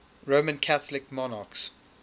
roman catholic monarchs